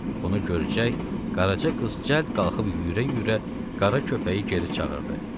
Bunu görəcək, Qaraca qız cəld qalxıb yüyürə-yüyürə qara köpəyi geri çağırdı.